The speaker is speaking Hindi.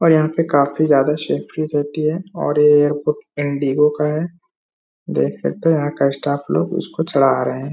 और यहाँ पे काफी ज्यादा सेफ्टी रहती है और ये एयरपोर्ट एन.डी.ओ. का है। देख सकते हैं यहाँ का स्टाफ लोग उसको चढ़ा रहे हैं।